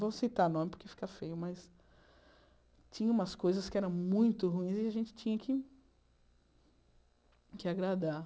Não vou citar nome porque fica feio, mas... Tinha umas coisas que eram muito ruins e a gente tinha que... que agradar.